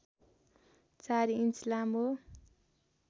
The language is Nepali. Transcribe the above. चार इन्च लामो